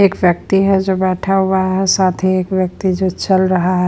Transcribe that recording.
एक व्यक्ति है जो बैठा हुआ है साथ ही एक व्यक्ति जो चल रहा है।